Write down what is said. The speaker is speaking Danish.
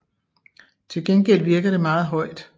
Til gengæld virker det meget højt